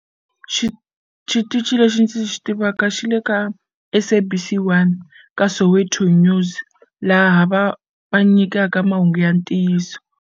Xi xitichi lexi ndzi xi tivaka xi le ka SABC 1 ka Soweto News laha va va nyikaka mahungu ya ntiyiso.